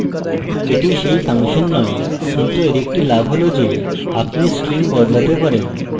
এটি সেই ফাংশন নয় কিন্তু এর একটি লাভ হল যে আপনি string বদলাতে পারেন